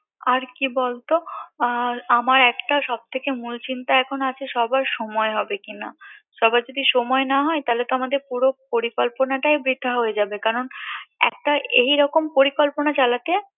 আর কি বলতো আর আমার একটা সবথেকে মুলচিন্তা আছে সবার সময় হবে কিনা সবার যদি সময় না হয় তাহলে তো আমাদের পুরো পরিকল্পনাটাই বৃথা হয়ে যাবে